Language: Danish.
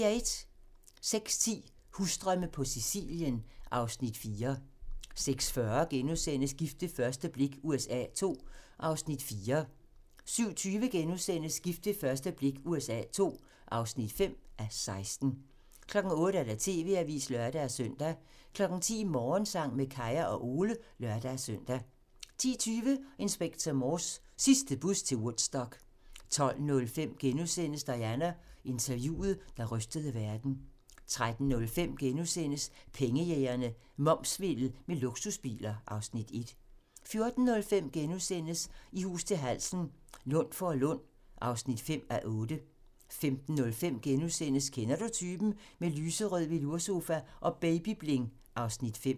06:10: Husdrømme på Sicilien (Afs. 4) 06:40: Gift ved første blik USA II (4:16)* 07:20: Gift ved første blik USA II (5:16)* 08:00: TV-avisen (lør-søn) 10:00: Morgensang med Kaya og Ole (lør-søn) 10:20: Inspector Morse: Sidste bus til Woodstock 12:05: Diana: Interviewet, der rystede verden * 13:05: Pengejægerne - Momssvindel med luksusbiler (Afs. 1)* 14:05: I hus til halsen - Lundforlund (5:8)* 15:05: Kender du typen? - Med lyserød veloursofa og baby-bling (Afs. 5)*